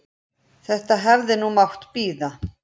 Þetta hefði nú mátt bíða.